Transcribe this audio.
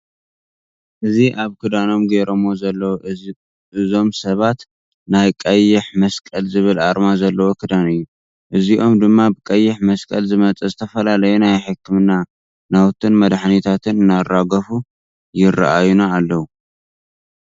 እዚ ኣብ ክዳኖም ጌረሞ ዘለዉ እዞ ሰብ ናይ ቀይሕ መስቀል ዝብል ኣርማ ዘለዎ ክዳን እዩ። እዚኦም ድማ ብቀይሕ መስቀል ዝመፀ ዝተፈላለዩ ናይ ሕክምና ናውትን መድሓኒታትን እናራገፉ ይረአዩና ኣለዉ።